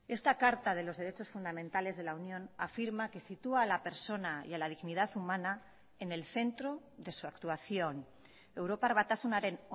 esta carta de los derechos fundamentales de la unión afirma que sitúa a la persona y a la dignidad humana en el centro de su actuación europar batasunaren